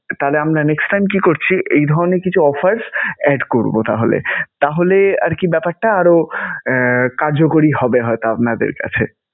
তাহলে আমরা next time কি করছি? এই ধরনের কিছু offers add করবো তাহলে. তাহলে আরকি ব্যপারটা আরও আহ কার্যকরী হবে হয়তো আপনাদের কাছে.